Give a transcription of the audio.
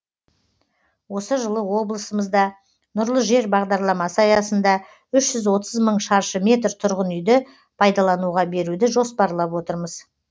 осы жылы облысымызда нұрлы жер бағдарламасы аясында үш жүз отыз мың шаршы метр тұрғын үйді пайдалануға беруді жоспарлап отырмыз